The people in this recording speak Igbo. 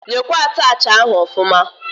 Nyekwa attachị ahụ ọfụma!